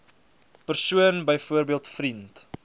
persoon byvoorbeeld vriend